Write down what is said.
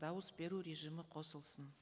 дауыс беру режимі қосылсын